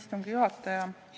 Hea istungi juhataja!